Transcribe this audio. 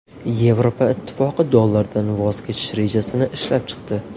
Yevropa Ittifoqi dollardan voz kechish rejasini ishlab chiqdi.